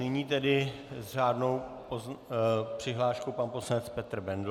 Nyní tedy s řádnou přihláškou pan poslanec Petr Bendl.